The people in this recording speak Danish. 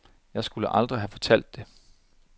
Jeg skulle aldrig have fortalt det.